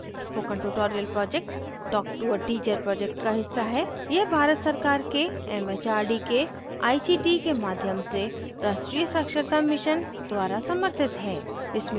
spoken tutorial project talktoa teacher project का हिस्सा है यह भारत सरकार के एमएचआरडी के आईसीटी के माध्यम से राष्ट्रीय साक्षरता mission द्वारा समर्थित है